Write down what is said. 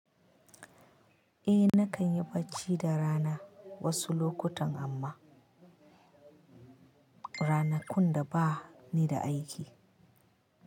Eh nakan yi bacci da rana wasu lokutan amma ranakun da bani da aiki.